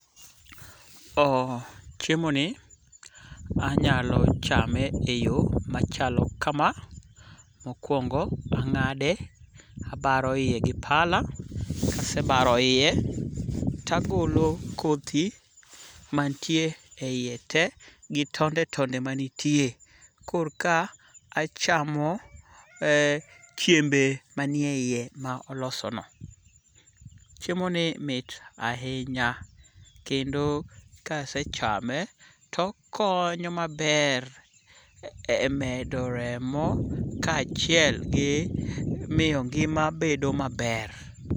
Chiemo ni anyalo chame eyo machalo kama. Mokwongo ang'ade, abaro yie gi pala. Kasebaro yie to agolo kodhi mantie eyie te gi tonde tonde manitie kor ka achamo chiembe manie yie ma oloso no. Chiemo ni mit ahinya. Kendo kasechame to okonyo maber e medo remo kachiel gi miyo ngima bedo maber.